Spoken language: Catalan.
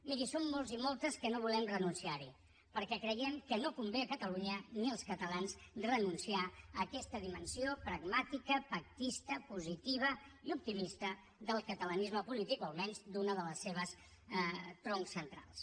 miri som molts i moltes que no volem renunciarhi perquè creiem que no convé ni a catalunya ni als catalans renunciar a aquesta dimensió pragmàtica pactista positiva i optimista del catalanisme polític o almenys d’un dels seus troncs centrals